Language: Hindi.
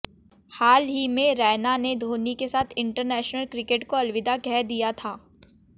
हाल ही में रैना ने धोनी के साथ इंटरनेशनल क्रिकेट को अलविदा कह दिया था